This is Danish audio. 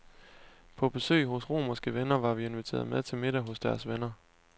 På besøg hos romerske venner var vi inviteret med til middag hos deres venner.